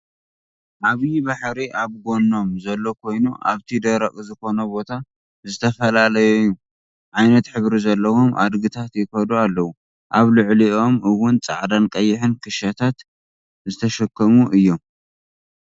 ዓብይ ባሕሪ ኣብ ጎኖም ዘሎ ኮይኑ ኣብቲ ደረቅ ዝኮነ ቦታ ዝተፈላለየዩ ዓይነት ሕብሪ ዘለዎም ኣድግታት ይከዱ ኣለው። ኣብ ልዕልይኦም እውን ፃዕዳን ቀይሕን ክሻታት ዝተሸከሙ እዮም።